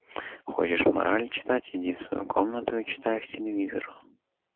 хочешь морали читать иди в свою комнату и читай их телевизору